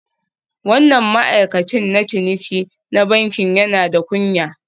Wannan ma'aikacin na ciniki na bankin yana da kunya